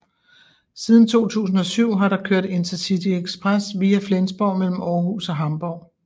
Siden 2007 har der kørt InterCityExpress via Flensborg mellem Aarhus og Hamborg